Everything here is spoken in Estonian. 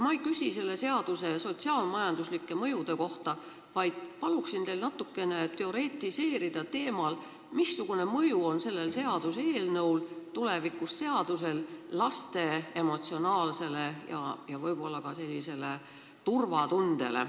Ma ei küsi selle seaduse sotsiaal-majanduslike mõjude kohta, vaid palun teil natukene teoretiseerida teemal, missugune mõju on tulevasel seadusel laste emotsionaalsele seisundile ja ka turvatundele.